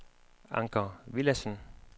Anker Villadsen